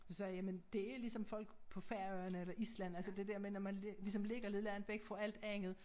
Så sagde jeg jamen det ligesom folk på Færøerne eller Island altså det dér med når man ligesom ligger lidt langt væk fra alt andet